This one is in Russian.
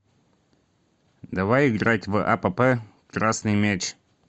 давай играть в апп красный мяч